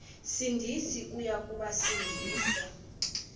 sindisi uya kubasindisa